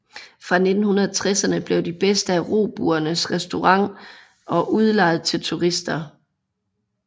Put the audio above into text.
Fra 1960erne blev de bedste af robuerne restaureret og udlejet til turister